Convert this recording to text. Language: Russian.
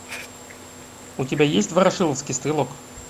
у тебя есть ворошиловский стрелок